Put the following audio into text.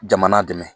Jamana dɛmɛ